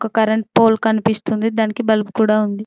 ఒక current pole కనిపిస్తుంది దానికి బల్బు కూడా ఉంది.